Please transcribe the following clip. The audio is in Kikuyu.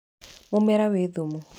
Mũmera wĩ thumu.